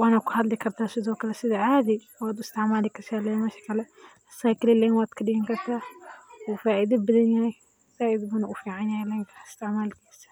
Wana kuahdli kartah sethokali setha caadi wa u isticmali kartah lemasha Kali asaga gredit lean wa kadigani kartah wuu faitha bathanyah, saait ayu uficanyahay lenkan isticmalkisa.